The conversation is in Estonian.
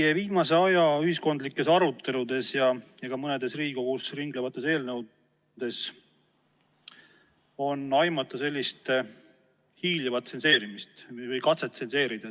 Meie viimase aja ühiskondlikes aruteludes ja ka mõnes Riigikogus ringlevas eelnõus on aimata sellist hiilivat tsenseerimist või katset tsenseerida.